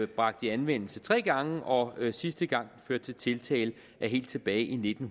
bragt i anvendelse tre gange og sidste gang førte til tiltale var helt tilbage i nitten